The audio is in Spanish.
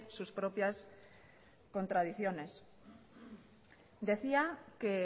sus propias contradicciones decía que